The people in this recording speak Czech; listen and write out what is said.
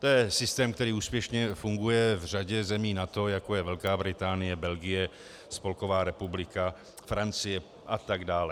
To je systém, který úspěšně funguje v řadě zemí NATO, jako je Velká Británie, Belgie, Spolková republika, Francie a tak dále.